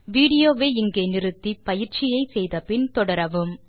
video வை இங்கே pause செய்து பின்வரும் எக்ஸர்சைஸ் ஐ செய்த பின் மீண்டும் தொடரவும்